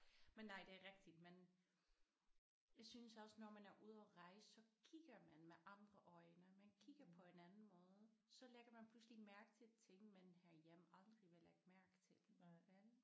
Men nej det er rigtig man jeg synes også når man er ude at rejse så kigger man med andre øjne man kigger på en anden måde. Så lægger man pludselig mærke til ting man herhjemme aldrig ville lægge mærke til vel